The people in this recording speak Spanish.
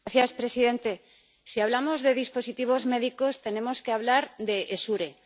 Señor presidente, si hablamos de dispositivos médicos, tenemos que hablar de Essure.